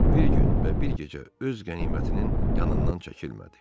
Bir gün və bir gecə öz qənimətinin yanından çəkilmədi.